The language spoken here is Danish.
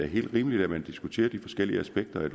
helt rimeligt at man diskuterer de forskellige aspekter